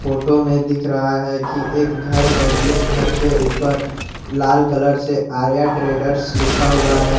Photo में दिख रहा है कि एक घर है जिस घर के ऊपर लाल कलर से आर्या ट्रेडर्स लिखा हुआ है।